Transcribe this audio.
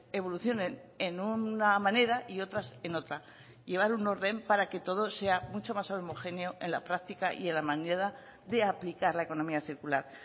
evolucionen en una manera y otras en otra llevar un orden para que todo sea mucho más homogéneo en la práctica y en la manera de aplicar la economía circular